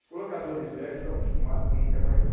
Os colocadores velhos estão acostumados, ninguém quer mais não.